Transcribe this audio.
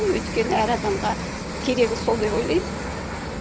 өйткені әр адамға керегі сол деп ойлаймын